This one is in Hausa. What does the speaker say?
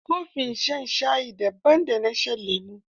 Kofin shan shayi, daban da na shan lemo.